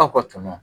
Aw ka tɔɲɔgɔn